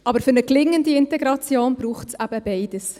Aber für eine gelingende Integration braucht es eben beides.